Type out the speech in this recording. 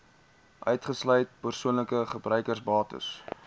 uitgesluit persoonlike gebruiksbates